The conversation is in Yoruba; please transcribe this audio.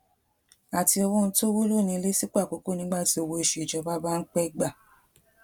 àti owó oun tówúlò ní ilé sípò àkókó nígbà tí owó oṣù ìjọba bá ń pé gbà